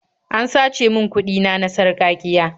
An sace min kuɗi na na sarƙaƙiya.